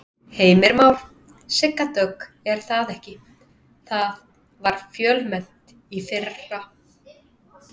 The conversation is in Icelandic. Heimir Már: Sigga Dögg er það ekki, það var fjölmennt í fyrra?